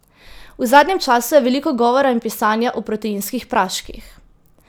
V zadnjem času je veliko govora in pisanja o proteinskih praških.